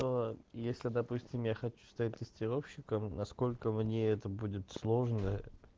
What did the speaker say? то если допустим я хочу стать тестировщиком насколько мне это будет сложно